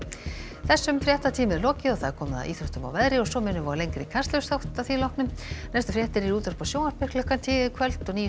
þessum fréttatíma er lokið og komið að íþróttum og veðri og svo minnum við á lengri Kastljóssþátt að því loknu næstu fréttir eru í útvarpi og sjónvarpi klukkan tíu í kvöld og nýjustu